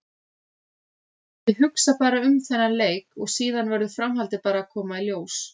Ég hugsa bara um þennan leik og síðan verður framhaldið bara að koma í ljós.